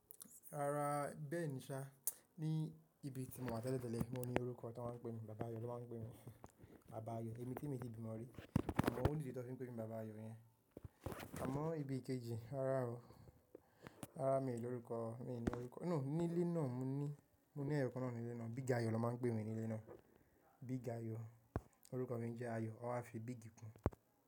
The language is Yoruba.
Rárá, bẹ́ẹ̀ ni, ṣá. Ni ibi tí mo wà tẹ́lẹ̀ tẹ́lẹ̀ ni mo ní orúkọ tí wọ́n máa ń pè mi, Bàb áyọ̀ ló máa ń pè mi. Bàb áyọ̀, èmi tí mi ti bimò rí. Àmọ́ ò ni di tọ́n fi ń pè mi Bàba áyọ̀ yẹn. Àmọ́ ibi kejì, rárá o, rárá mi ò ní orúkọ, mi ò ní orúkọ. No, nílé náà mo ní, mo ní ẹyọkan náà nílé náà, Big Ayo ló máa ń pè mi nílé náà. Big Ayo. Orúkọ mi jẹ́ Ayo, wọ́n wá fi Big kún.